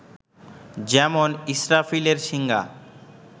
যেমন-ইস্রাফিলের শিঙ্গা